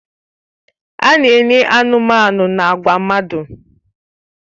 A na-enye anụmanụ na agwa mmadụ.